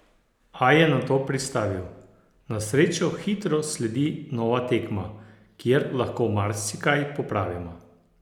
A je nato pristavil: "Na srečo hitro sledi nova tekma, kjer lahko marsikaj popravimo.